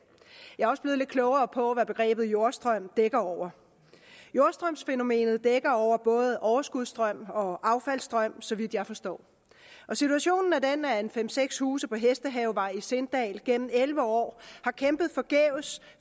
jeg er også blevet lidt klogere på hvad begrebet jordstrøm dækker over jordstrømsfænomenet dækker over både overskudsstrøm og affaldsstrøm så vidt jeg forstår og situationen er den at fem seks huse på hesthavevej i sindal gennem elleve år har kæmpet forgæves